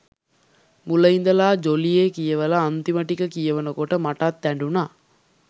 මුල ඉඳල ජොලියෙ කියවල අන්තිම ටික කියවනකොට මටත් ඇඬුන.